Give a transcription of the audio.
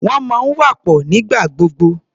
Wọ́n máa ń wà papọ̀ nígbà gbogbo.